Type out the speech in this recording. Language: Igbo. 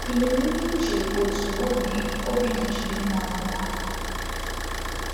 I nwere ike iche otú obi obi dị Chimamanda mgbe ahụ?